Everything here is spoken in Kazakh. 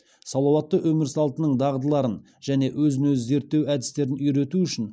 салауатты өмір салтының дағдыларын және өзін өзі зерттеу әдістерін үйрету үшін